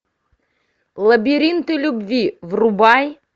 лабиринты любви врубай